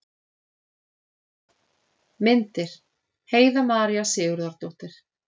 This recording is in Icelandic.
Myndir: Heiða María Sigurðardóttir.